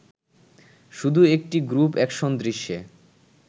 শুধু একটি group action দৃশ্যে